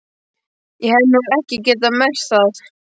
Ég hef nú ekki getað merkt það.